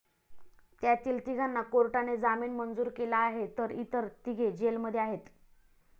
त्यातील तिघांना कोर्टाने जामीन मंजूर केला आहे तर इतर तिघे जेलमध्ये आहेत.